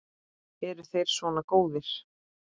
Eru þeir svona góðir?